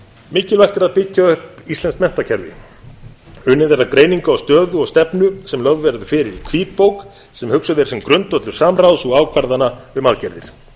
að byggja upp íslenskt menntakerfi unnið er að greiningu á stöðu og stefnu sem lögð verður fyrir í hvítbók sem hugsuð er sem grundvöllur samráðs og ákvarðana um aðgerðir